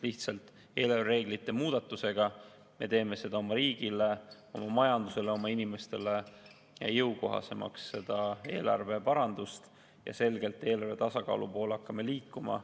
Lihtsalt eelarvereeglite muudatusega me teeme seda oma riigile, oma majandusele, oma inimestele jõukohasemaks, seda eelarveparandust, ja hakkame selgelt eelarve tasakaalu poole liikuma.